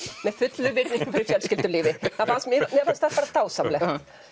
með fullri virðingu fyrir fjölskyldulífi mér fannst mér fannst það bara dásamlegt